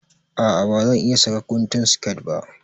A'a ba zan iƴa saka guntun siket ba.